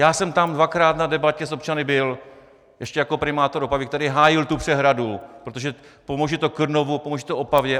Já jsem tam dvakrát na debatě s občany byl ještě jako primátor Opavy, který hájil tu přehradu, protože pomůže to Krnovu, pomůže to Opavě.